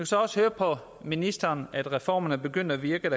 så også høre på ministeren at reformerne er begyndt at virke